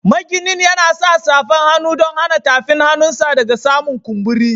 Maginin yana sa safan hannu dan hana tafin hannun sa daga samun kumburi.